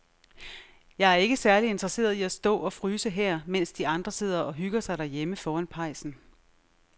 Jeg er ikke særlig interesseret i at stå og fryse her, mens de andre sidder og hygger sig derhjemme foran pejsen.